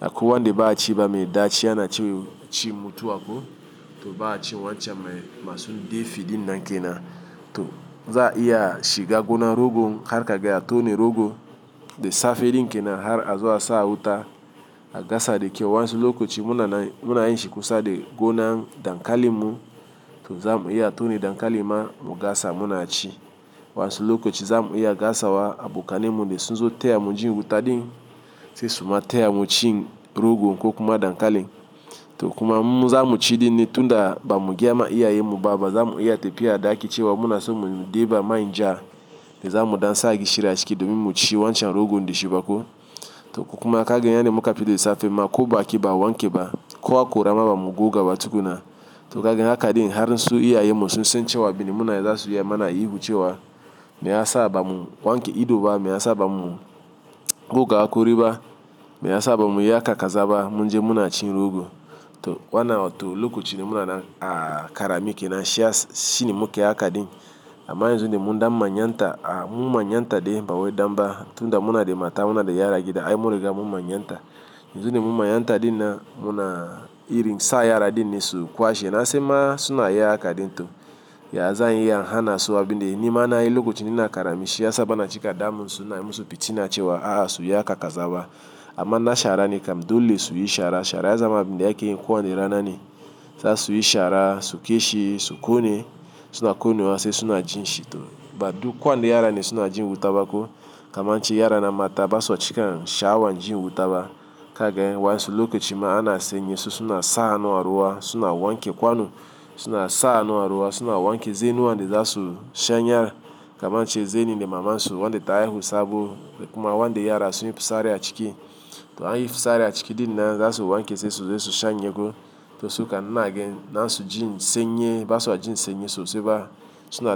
Akwai wande ba a ci ba mai daci yana ci cin mutuwa ko. To ba a cin wancan masu de fi din nan ke na. To za a iya shiga gona rogon har ka gaya tone rogo de safe iri ke na har a zo a sa wuta a gasa de kyau. Wayansu lokoci muna na, muna yin shi kusa de gona dankalin mu to za mu iya tone dankali ma mu gasa mu na ci. Wansu lokoci za mu iya gasawa a bukane mu de sunzo taya mu jin wuta din sai suma taya mu cin rogon ko kuma dankalin. To kuma mu za mu ci din ne tunda ba mu gayama iya yi mu ba ba za mu iya tafiya da ake cewa muna so mu de ba manja de za mu dansa gishiri a ciki domin mu ci wancan rogon de shi bako. To kuma kagen yanda muka fita de safe ma ko ba ki ba wanke ba, kowa hakora ma ba mu goga ba tukuna. To kagen haka din har su iya yi musu sun cewa abinda muna za su yi amana yi ihu cewa me ya sa a ba mu wanke ido ba, me ya sa a ba mu goga a kuri ba, me ya sa a ba mu yi haka kazaba munje muna cin rogo. To wannan to lokaci de muna na a kara mi ke na shi ya s-shine muke haka din. Amma yanzu de mu nda manyanta, a mu manyanta de mba woy damba tunda muna de mata muna de yara gida, aye muriga mu manyanta. Yanzu de mu manyanta din nan muna iri sa yara din ne su kwashe. Na sai ma suna yi haka din to, ya zanyi yan hana so abin de, nima na yi lokaci de na kara mishi ya saba na cika damu suna musu fitina cewa a hasu yi haka kazaba. Amma na shara ne kam dole su yi shara. Shara ya zama abin de ake yin kuwa ndi rana ne. Za su yi shara, su kwashe, su kone suna konewa sai suna jin shi to. Ba duk kuwa wanda yara ne suna jin wuta ba ko. Kama inche yara na mata ba su cika kan sha awan jin wuta ba. Kagen wansu lokaci ma ana senye su suna sahannu a ruwa suna wanke kwano suna sahannu a ruwa suna wanke. Zannu wande za su shanye kama nche zeni de mama su wande ta haihu sabo kuma wande yara su yi fusari a ciki. To an yi fitsari a ciki din nan za su wanke sosu de su shanye ko. To suka inanage na su jin senye ba su a jin senye sosai ba suna da.